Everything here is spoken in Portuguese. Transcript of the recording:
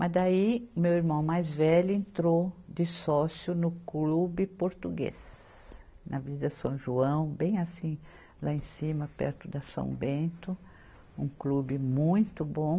Mas daí, meu irmão mais velho entrou de sócio no clube português, na Vila São João, bem assim, lá em cima, perto da São Bento, um clube muito bom.